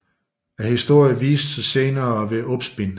Historien viste sig senere at være opspind